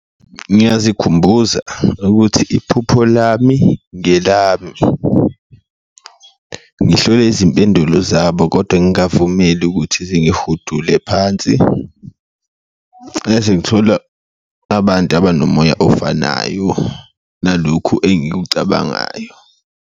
Ngiyazikhumbula ukuthi iphupho lami ngelami, ngihlole izimpendulo zabo kodwa ngavumeli ukuthi zihudule phansi ngithola abantu abanomoya ofanayo nalokhu engikucabangayo.